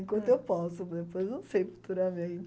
Enquanto eu posso, depois não sei futuramente.